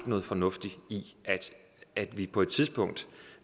noget fornuftigt i at vi på et tidspunkt